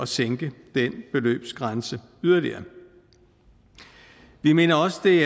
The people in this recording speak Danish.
sænke den beløbsgrænse yderligere vi mener også det